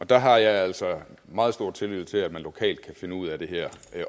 der har jeg altså meget stor tillid til at man lokalt kan finde ud af det her